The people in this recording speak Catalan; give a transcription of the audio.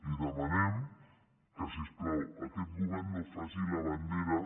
li demanem que si us plau aquest govern no faci la bandera